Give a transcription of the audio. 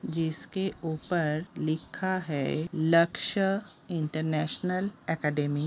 जिसके ऊपर लिखा है लक्ष्य इंटरनेशनल एकेडमी ।